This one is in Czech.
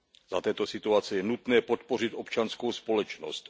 Za této situace je nutné podpořit občanskou společnost.